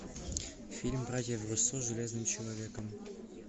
фильм братьев руссо с железным человеком